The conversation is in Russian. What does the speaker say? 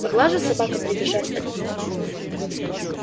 могла же собака прибежать от них